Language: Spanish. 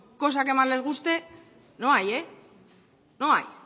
cosa que más les guste no hay no hay